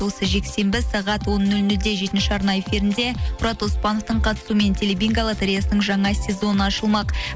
осы жексенбі сағат он нөл нөлде жетінші арна эфирінде мұрат оспановтың қатысуымен телебинго лотореясының жаңа сезоны ашылмақ